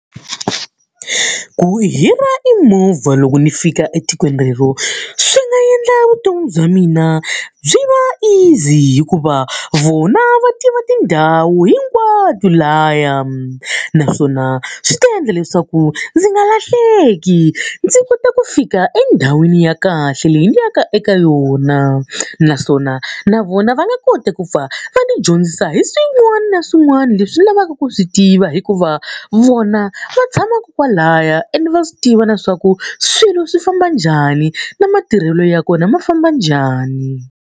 Ku hirha emovha loko ni fika etikweni rero, swi nga endla vutomi bya mina byi va easy hikuva vona va tiva tindhawu hinkwato lahaya. Naswona swi ta endla leswaku ndzi nga lahleki, ndzi kota ku fika endhawini ya kahle leyi ni yaka eka yona. Naswona na vona va nga kota ku pfa va ni dyondzisa hi swin'wana na swin'wana leswi ni lavaka ku swi tiva hikuva vona va tshama kona kwalaya, ende va swi tiva na swa ku swilo swi famba njhani na matirhelo ya kona ma famba njhani.